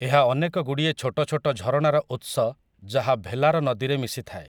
ଏହା ଅନେକ ଗୁଡ଼ିଏ ଛୋଟ ଛୋଟ ଝରଣାର ଉତ୍ସ ଯାହା ଭେଲାର ନଦୀରେ ମିଶିଥାଏ ।